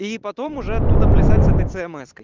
и потом уже оттуда плясать с этой цмс-кой